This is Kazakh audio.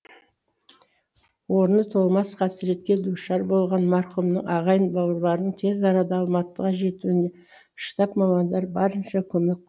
орны толмас қасыретке душар болған марқұмның ағайын бауырларының тез арада алматыға жетуін штаб мамандары барынша көмек